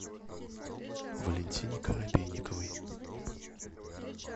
валентине коробейниковой